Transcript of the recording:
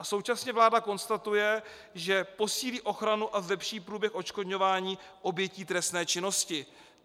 A současně vláda konstatuje, že posílí ochranu a zlepší průběh odškodňování obětí trestné činnosti.